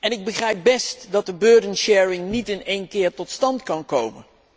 Ik begrijp best dat de burden sharing niet in één keer tot stand kan komen.